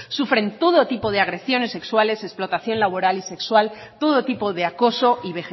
sufren todo tipo de agresiones sexuales explotación laboral y sexual todo tipo de acoso y